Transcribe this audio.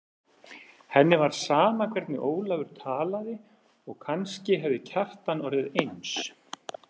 Henni var sama hvernig Ólafur talaði og kannski hefði Kjartan orðið eins.